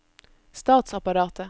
statsapparatet